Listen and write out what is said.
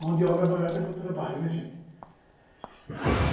Mão de obra barata para o trabalho, né, gente?